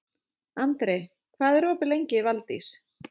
Andri, hvað er opið lengi í Valdís?